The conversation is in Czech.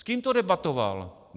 S kým to debatoval?